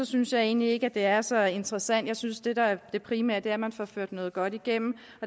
synes jeg egentlig ikke at det er så interessant jeg synes det der er det primære er at man får ført noget godt igennem